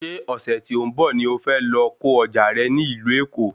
Ṣé ọ̀sẹ̀ tí ó ń bọ̀ ni o fẹ́ lọ ko ọjà rẹ ní ìlú Èkó